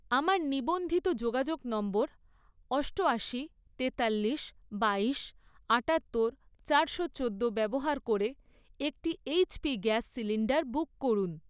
আমার নিবন্ধিত যোগাযোগ নম্বর অষ্টয়াশি, তেতাল্লিশ, বাইশ, আটাত্তর, চারশো চোদ্দো ব্যবহার করে একটি এইচপি গ্যাস সিলিন্ডার বুক করুন।